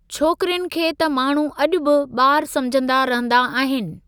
छोकरियुनि खे त माण्हू अॼु बि बा॒रु समुझंदा रहंदा आहिनि।